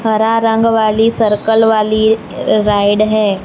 हरा रंग वाली सर्कल वाली राइड है।